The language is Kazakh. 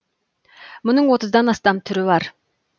мұның отыздан астам түрі бар